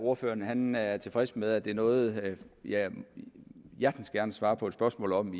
at ordføreren er tilfreds med at det er noget jeg hjertens gerne svarer på et spørgsmål om